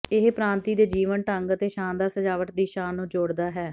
ਇਹ ਪ੍ਰਾਂਤੀ ਦੇ ਜੀਵਨ ਢੰਗ ਅਤੇ ਸ਼ਾਨਦਾਰ ਸਜਾਵਟ ਦੀ ਸ਼ਾਨ ਨੂੰ ਜੋੜਦਾ ਹੈ